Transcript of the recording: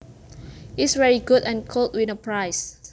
is very good and could win a prize